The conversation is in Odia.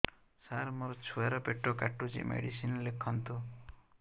ସାର ମୋର ଛୁଆ ର ପେଟ କାଟୁଚି ମେଡିସିନ ଲେଖନ୍ତୁ